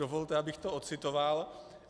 Dovolte, abych to ocitoval.